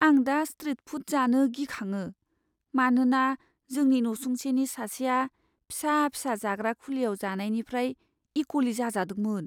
आं दा स्ट्रिट फुद जानो गिखाङो, मानोना जोंनि नसुंसेनि सासेआ फिसा फिसा जाग्रा खुलियाव जानायनिफ्राय इक'ली जाजादोंमोन।